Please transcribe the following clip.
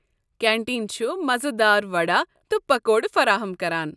Canteen چھُ مزٕ دار وڑا تہٕ پکوڑٕ فراہم كران ۔